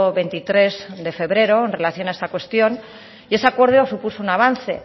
veintitrés de febrero en relación a esta cuestión y ese acuerdo supuso un avance